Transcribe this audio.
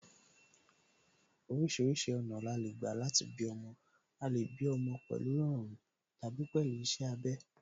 Orísìírísìí ọ̀nà ni a lè gbà láti bí ọmọ, a lè bí ọmọ pẹ̀lú ìrọ̀run tàbí pẹ̀lú iṣẹ́ abẹ